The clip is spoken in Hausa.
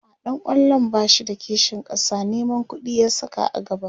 a'a ɗan kwallon bashi da kishin ƙasa Neman ƙuɗi ya Saka a gaba